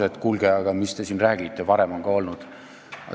Öeldakse, et kuulge, mis te siin räägite, varem on ka olnud.